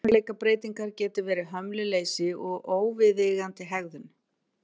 Persónuleikabreytingar geta verið hömluleysi og óviðeigandi hegðun.